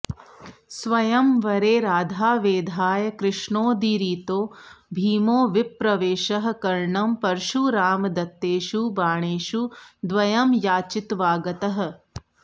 स्वयंवरे राधावेधाय कृष्णोदीरितो भीमो विप्रवेषः कर्णं परशुरामदत्तेषु बाणेषु द्वयं याचित्वागतः